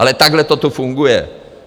Ale takhle to tu funguje.